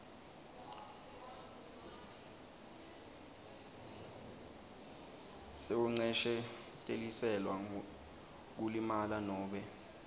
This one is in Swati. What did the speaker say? sekuncesheteliselwa kulimala nobe